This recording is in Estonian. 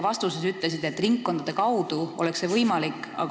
Te ütlesite, et ringkondade kaudu oleks see võimalik.